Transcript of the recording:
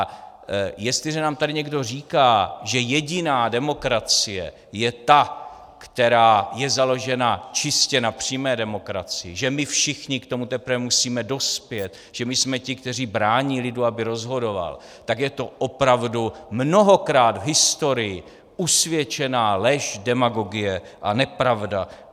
A jestliže nám tady někdo říká, že jediná demokracie je ta, která je založena čistě na přímé demokracii, že my všichni k tomu teprve musíme dospět, že my jsme ti, kteří brání lidu, aby rozhodoval, tak je to opravdu mnohokrát v historii usvědčená lež, demagogie a nepravda.